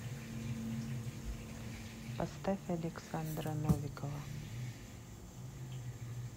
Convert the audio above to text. поставь александра новикова